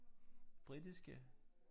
Britiske